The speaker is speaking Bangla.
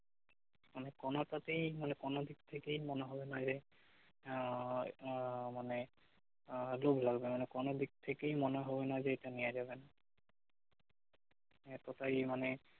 মানে কোনোটাতেই মানে কোন দিক থেকেই মনে হবে না যে আহ মানে আহ আজব লাগবে মানে কোনো দিক থেকেই মনে হবে না যে এটা নেয়া যাবে না এতটাই মানে